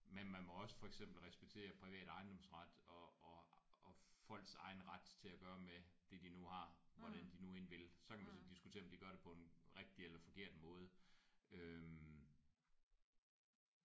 Men man må også for eksempel respektere privat ejendomsret og og og folks egen ret til at gøre med det de nu har hvordan de nu end vil. Så kan man så diskutere om de gør det på en rigtig eller forkert måde øh